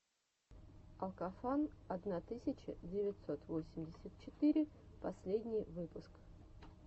алкофан одна тысяча девятьсот восемьдесят четыре последний выпуск